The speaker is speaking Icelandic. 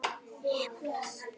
Áhrifin skýrist næstu mánuði.